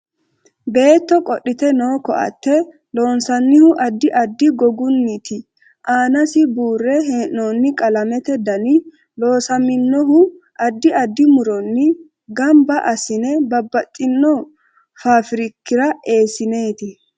Beetto qodhite noo ko'atte loonsanihu addi addi gogginiiti aanasi buure heenooni qalamete dani loosaminohu addi addi muronni ganba asine babbaxino faafirikira eesineeti